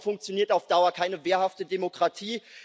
Ich glaube, so funktioniert auf Dauer keine wehrhafte Demokratie.